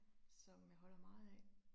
Som jeg holder meget af